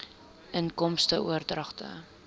inkomste oordragte